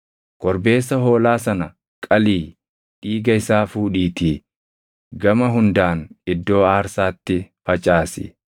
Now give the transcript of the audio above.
Korbeessa hoolaa sana qalii dhiiga isaa fuudhiitii gama hundaan iddoo aarsaatti facaasi.